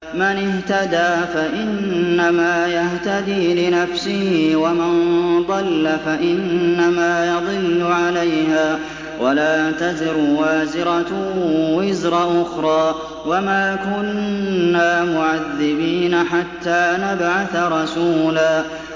مَّنِ اهْتَدَىٰ فَإِنَّمَا يَهْتَدِي لِنَفْسِهِ ۖ وَمَن ضَلَّ فَإِنَّمَا يَضِلُّ عَلَيْهَا ۚ وَلَا تَزِرُ وَازِرَةٌ وِزْرَ أُخْرَىٰ ۗ وَمَا كُنَّا مُعَذِّبِينَ حَتَّىٰ نَبْعَثَ رَسُولًا